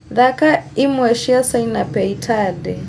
thaaka imwe cia sanaipei tande